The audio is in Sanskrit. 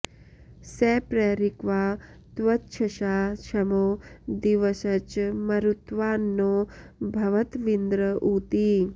स प्र॒रिक्वा॒ त्वक्ष॑सा॒ क्ष्मो दि॒वश्च॑ म॒रुत्वा॑न्नो भव॒त्विन्द्र॑ ऊ॒ती